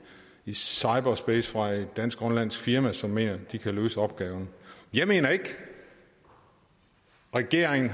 i cyberspace fra et dansk grønlandsk firma som mener de kan løse opgaven jeg mener ikke regeringen